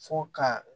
Fo ka